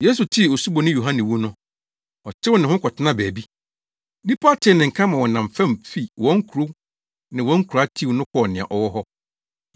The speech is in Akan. Yesu tee Osuboni Yohane wu no, ɔtew ne ho kɔtenaa baabi. Nnipa tee ne nka ma wɔnam fam fi wɔn nkurow ne wɔn nkuraa tiw no kɔɔ nea ɔwɔ hɔ.